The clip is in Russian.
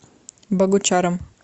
богучаром